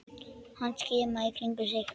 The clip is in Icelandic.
Hann skimaði í kringum sig.